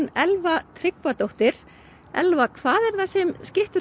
Elva Tryggvadóttir Elva hvað er það sem skyttur